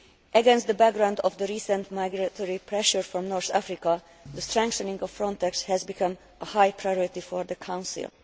Against the background of the recent migratory pressure from North Africa, the strengthening of Frontex has become a high priority for the Council.